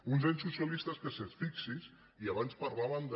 uns anys socialistes que fixi’s i abans parlaven de